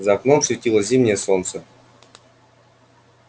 за окном светило зимнее солнце